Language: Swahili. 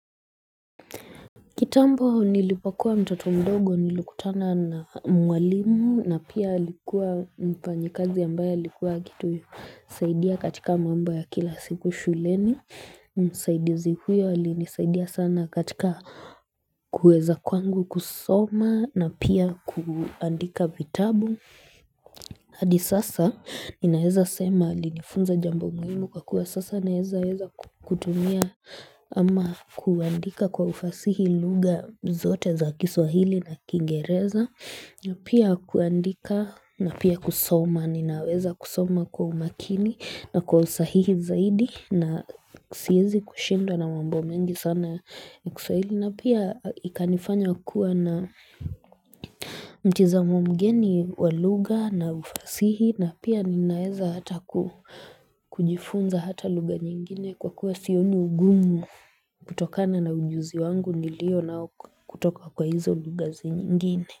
Kitambo nilipokua mtoto mdogo nilukutana na mwalimu na pia alikuwa mfanyikazi ambaye likuwa akitu. Saidiya katika mambo ya kila siku shuleni. Saidizi huyo alinisaidia sana katika kueza kwangu kusoma na pia kuandika vitabu. Hadi sasa ninaeza sema alinifunza jambo muhimu kwa kuwa sasa naeza eza kutumia ama kuandika kwa ufasihi lugha zote za kiswahili na kingereza na pia kuandika na pia kusoma Ninaweza kusoma kwa umakini na kwa usahihi zaidi na siezi kushindwa na mambo mengi sana kiswahili na pia ikanifanya kuwa na mtizamo mgeni wa lugha na ufasihi na pia ninaeza hata kujifunza hata lugha nyingine kwa kuwa sioni ugumu kutokana na ujuzi wangu nilio nao kutoka kwa hizo lugha zingine.